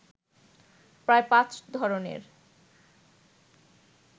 প্রায় পাঁচ ধরণের